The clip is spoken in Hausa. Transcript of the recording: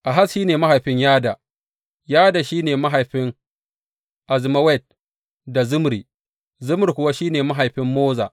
Ahaz shi ne mahaifin Yada, Yada shi ne mahaifin Alemet, Azmawet da Zimri, Zimri kuwa shi ne mahaifin Moza.